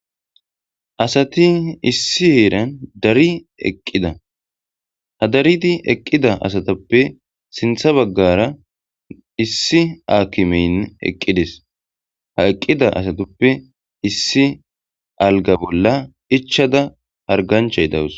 asati issi heeran dari eqqida ha daridi eqqida asatappe sintha baggara issi aakimeyn eqqidis ha eqqida asatippe issi alga bolla ichada hargancha y dawus